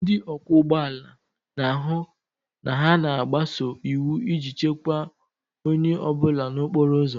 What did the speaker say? Ndị ọkwọ ụgbọ ala na-ahụ na ha na-agbaso iwu iji chekwaa onye ọ bụla n'okporo ụzọ